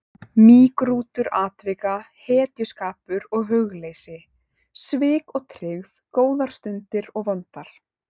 Mýgrútur atvika, hetjuskapur og hugleysi, svik og tryggð, góðar stundir og vondar.